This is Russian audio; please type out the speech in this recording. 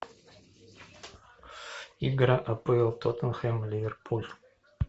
игра апл тоттенхэм ливерпуль